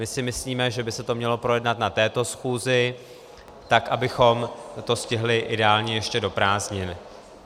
My si myslíme, že by se to mělo projednat na této schůzi tak, abychom to stihli ideálně ještě do prázdnin.